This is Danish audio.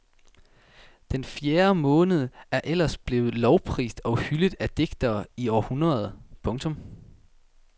Den fjerde måned er ellers blevet lovprist og hyldet af digtere i århundreder. punktum